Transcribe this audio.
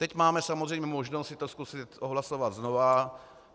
Teď máme samozřejmě možnost si to zkusit odhlasovat znovu.